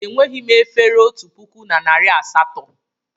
Enweghị m efere otu puku na narị asatọ.